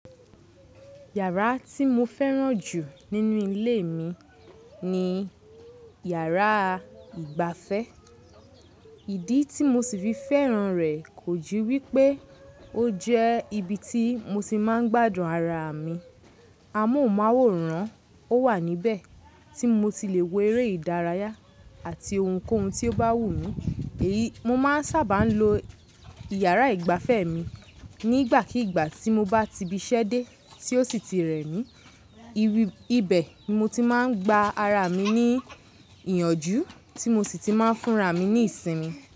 Yàrá tí mo fẹ́ràn jù nínú ilé mi ni yàrá ìgbafẹ́. Ìdí tí mo sì fi fẹ́ràn rẹ̀ kò ju wípé ó jẹ́ ibi tí mo ti máa ń gbádùn ara mi. Amóhùnmáwòrán ò wà níbẹ̀ tí mo ti le wo eré ìdárayá àti ohunkóhun tí ó bá wù mí. Èyi mo máa ń sábà lo ìyàrá ìgbafẹ́ mi nígbàkígbà tí mo bá tibiṣẹ́ dé tí ó sì ti rẹ̀ mí. Ibe ni mo ti máa ń gba ara mi ní ìyànjú tí mo sì ti máa ń fúnra mi ní ìsinmi.